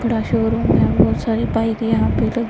बड़ा शोरूम है बहुत सारी बाइक यहां पे लगी--